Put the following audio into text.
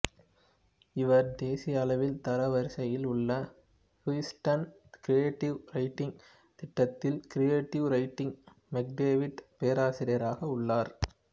இவர் தேசிய அளவில் தரவரிசையில் உள்ள ஹூஸ்டன் கிரியேட்டிவ் ரைட்டிங் திட்டத்தில் கிரியேட்டிவ் ரைட்டிங் மெக்டேவிட் பேராசிரியராக உள்ளார்